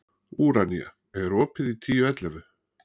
Úranía, er opið í Tíu ellefu?